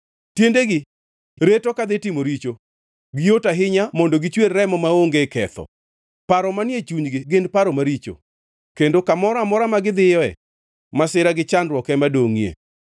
Tiendegi reto kadhi timo richo; giyot ahinya mondo gichwer remo maonge ketho. Paro manie chunygi gin paro maricho kendo kamoro amora ma gidhiyoe; masira gi chandruok ema dongʼie.